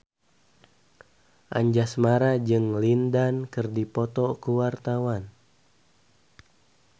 Anjasmara jeung Lin Dan keur dipoto ku wartawan